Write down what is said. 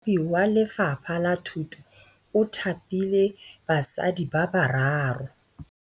Mothapi wa Lefapha la Thutô o thapile basadi ba ba raro.